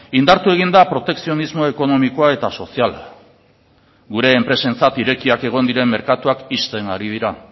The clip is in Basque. indartu egin da protekzionismo ekonomikoa eta soziala gure enpresentzat irekiak egon diren merkatuak ixten ari dira